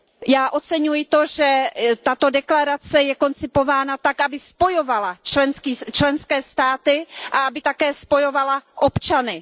Já oceňuji to, že tato deklarace je koncipována tak, aby spojovala členské státy a aby také spojovala občany.